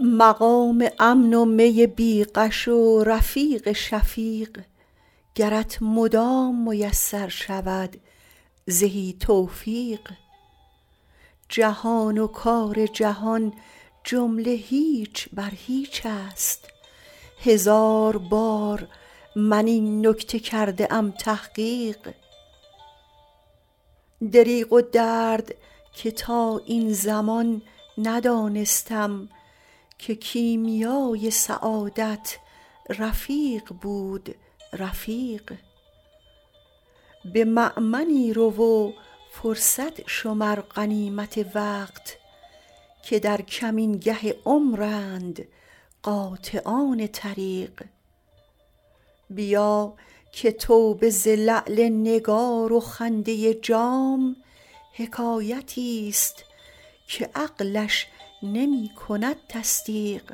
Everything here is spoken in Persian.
مقام امن و می بی غش و رفیق شفیق گرت مدام میسر شود زهی توفیق جهان و کار جهان جمله هیچ بر هیچ است هزار بار من این نکته کرده ام تحقیق دریغ و درد که تا این زمان ندانستم که کیمیای سعادت رفیق بود رفیق به مأمنی رو و فرصت شمر غنیمت وقت که در کمینگه عمرند قاطعان طریق بیا که توبه ز لعل نگار و خنده جام حکایتی ست که عقلش نمی کند تصدیق